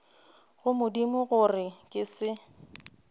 go modimo gore ke se